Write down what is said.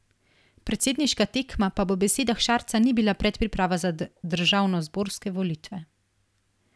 Predsedniška tekma pa po besedah Šarca ni bila predpriprava za državnozborske volitve.